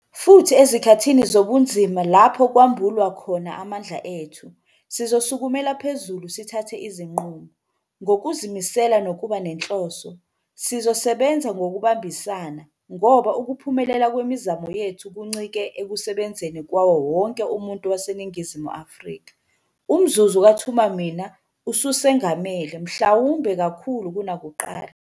Futhi ezikhathini zobunzima lapho kwambulwa khona amandla ethu. Sizosukumela phezulu sithathe izinqumo, ngokuzimisela nokuba nenhloso. Sizosebenza ngokubambisana, ngoba ukuphumelela kwemizamo yethu kuncike ekusebenzeni kwawo wonke umuntu waseNingizimu Afrika. Umzuzu kaThuma Mina ususengamele, mhlawumbe kakhulu kunakuqala.